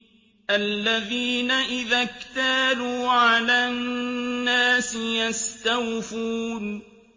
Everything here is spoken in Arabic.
الَّذِينَ إِذَا اكْتَالُوا عَلَى النَّاسِ يَسْتَوْفُونَ